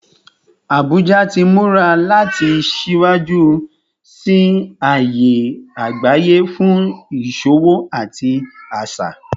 Abuja ti mura lati siwaju siwaju si aaye agbaye fun iṣowo ati aṣa